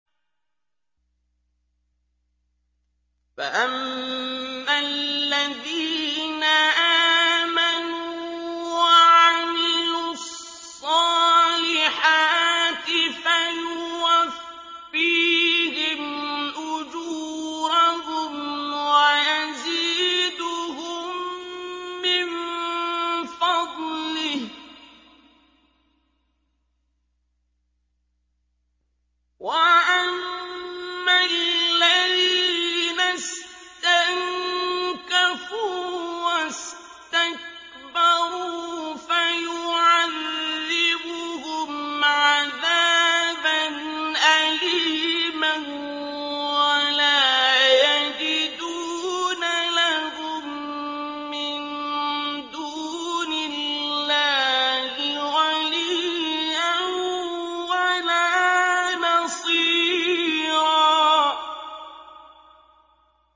فَأَمَّا الَّذِينَ آمَنُوا وَعَمِلُوا الصَّالِحَاتِ فَيُوَفِّيهِمْ أُجُورَهُمْ وَيَزِيدُهُم مِّن فَضْلِهِ ۖ وَأَمَّا الَّذِينَ اسْتَنكَفُوا وَاسْتَكْبَرُوا فَيُعَذِّبُهُمْ عَذَابًا أَلِيمًا وَلَا يَجِدُونَ لَهُم مِّن دُونِ اللَّهِ وَلِيًّا وَلَا نَصِيرًا